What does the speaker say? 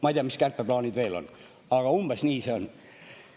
Ma ei tea, mis kärpeplaanid veel on, aga umbes nii see on.